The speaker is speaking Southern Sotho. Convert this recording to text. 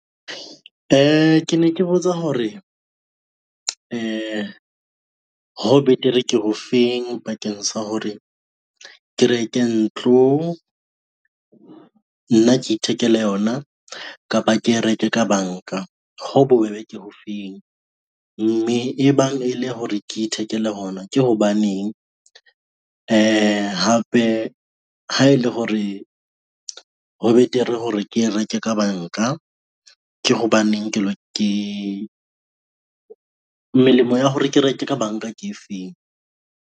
Ke ne ke botsa hore, ho betere ke ho feng bakeng sa hore ke reke ntlo, nna ke ithekele yona kapa ke e reke ka banka. Ho bobebe ke ho feng? Mme e bang e le hore ke ithekele hona ke hobaneng, hape ha e le hore ho betere hore ke reke ka banka, ke hobaneng melemo ya hore ke reke ka banka ke e feng.